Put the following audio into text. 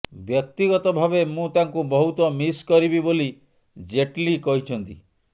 ବ୍ୟକ୍ତିଗତ ଭାବେ ମୁଁ ତାଙ୍କୁ ବହୁତ ମିସ୍ କରିବି ବୋଲି ଜେଟ୍ଲି କହିଛନ୍ତି